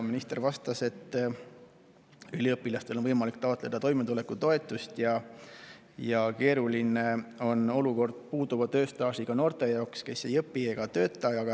Minister vastas, et üliõpilastel on võimalik taotleda toimetulekutoetust ja keeruline on olukord puuduva tööstaažiga noore jaoks, kes ei õpi ega tööta.